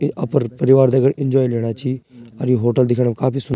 ये अपर परिवार दगड एन्जॉय लेणा छी और ये होटल दिखेणु काफी सुन --